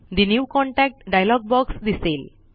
ठे new contact dialog box दिसेल